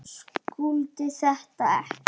Skildi þetta ekki.